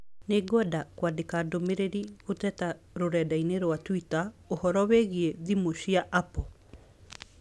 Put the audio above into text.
Nĩ ngwenda kwandĩka ndũmīrīri gũteta rũrenda-inī rũa tũita ũhoro wĩgiĩ thimũ cia Apple